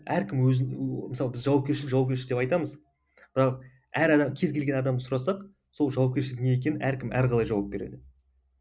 әркім өзін мысалы біз жауапкершілік жауапкершілік деп айтамыз бірақ әр адам кез келген адамнан сұрасақ сол жауапкершілік не екенін әркім әрқалай жауап береді